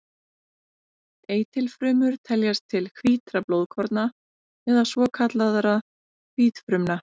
Eitilfrumur teljast til hvítra blóðkorna eða svokallaðra hvítfrumna.